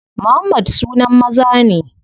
Muhammad sunan maza ne.